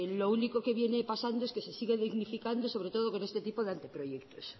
lo único que viene pasando que se sigue dignificando sobre todo con este tipo de anteproyectos